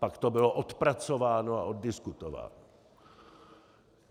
Pak to bylo odpracováno a oddiskutováno.